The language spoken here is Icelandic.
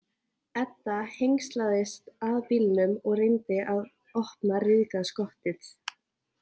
Edda hengslaðist að bílnum og reyndi að opna ryðgað skottið.